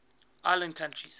island countries